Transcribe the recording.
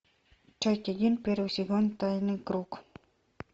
часть один первый сезон тайный круг